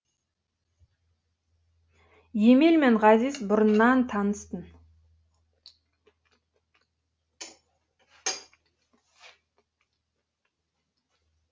емел мен ғазиз бұрыннан таныс тын